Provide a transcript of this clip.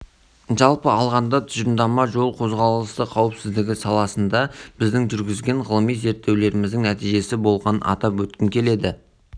біз жол-көлік оқиғаларының санын азайтуға кедергі келтіріп отырған жүйелік проблемаларды анықтап олардың салдарын азайтудың жолдарын